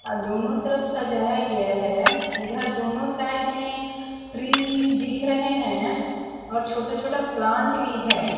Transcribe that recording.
और दोनों तरफ सजाया गया है इधर दोनों साइड में ट्री भी दिख रहे है और छोटा छोटा प्लांट भी है।